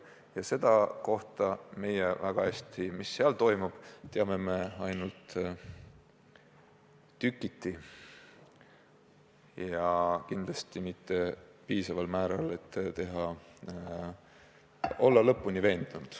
Ja seda, mis seal toimub, teame me ainult tükiti ja kindlasti mitte piisaval määral, et olla lõpuni kindel.